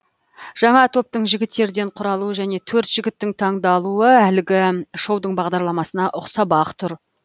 жаңа топтың жігіттерден құралуы және төрт жігіттің таңдалуы әлгі шоудың бағдарламасына ұқсап ақ тұр